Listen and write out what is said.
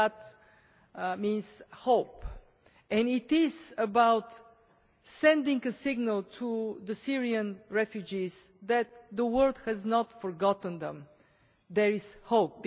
Madad means hope, and it is about sending a signal to the Syrian refugees that the world has not forgotten them, that there is hope.